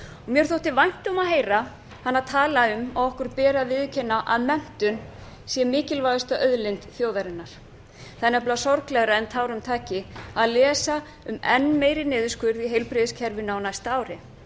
mér þótti vænt um að heyra hana tala um að okkur beri að viðurkenna að menntun sé mikilvægasta auðlind þjóðarinnar það er nefnilega sorglegra en tárum taki að lesa um enn meiri niðurskurð í heilbrigðiskerfinu á næsta ári